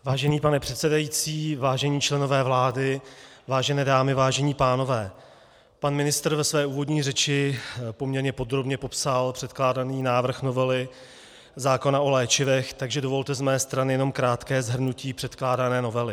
Vážený pane předsedající, vážení členové vlády, vážené dámy, vážení pánové, pan ministr ve své úvodní řeči poměrně podrobně popsal předkládaný návrh novely zákona o léčivech, takže dovolte z mé strany jenom krátké shrnutí předkládané novely.